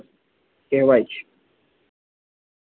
કહેવાય છે